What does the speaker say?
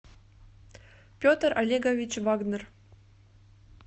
петр олегович вагнер